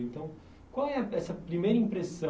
Então, qual é a essa primeira impressão?